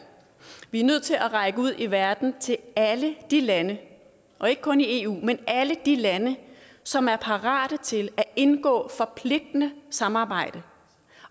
vi er nødt til at række ud i verden til alle de lande og ikke kun i eu men alle de lande som er parate til at indgå et forpligtende samarbejde